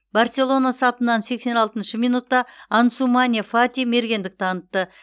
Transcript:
барселона сапынан сексен алтыншы минутта ансумане фати мергендік танытты